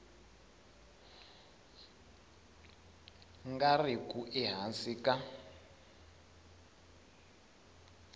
nga ri ku ehansi ka